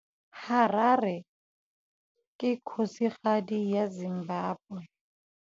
Harare ke kgosigadi ya Zimbabwe.